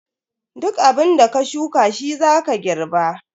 Duk abunda ka shuka shi zaka girba.